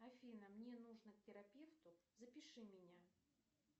афина мне нужно к терапевту запиши меня